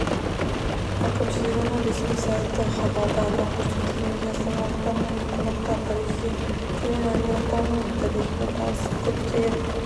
әкімшілігінің ресми сайты хабарда атап көрсетілгендей астаналықтар мен қонақтар тарихы терең әулиеатаның тарихымен танысып көптеген